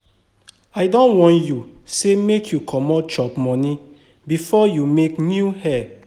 I don warn you sey make you comot chop money before you make new hair.